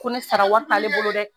Ko ne sara wari t'ale bolo dɛ!